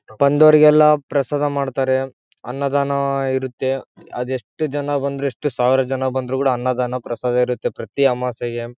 ಬಂದೋರಿಗೆಲ್ಲ ಪ್ರಸಾದ ಮಾಡ್ತಾರೆ ಅನ್ನದಾನ ಇರುತ್ತೆ ಅದೆಷ್ಟು ಜನ ಬಂದ್ರು ಎಷ್ಟು ಸಾವಿರ ಜನ ಬಂದ್ರು ಕೂಡ ಅನ್ನದಾನ ಪ್ರಸಾದ ಇರುತ್ತೆ ಪ್ರತಿ ಅಮಾಸೆಗೆ.